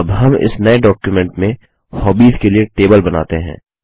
अब हम इस नये डॉक्युमेंट में हॉबीज के लिए टेबल बनाते हैं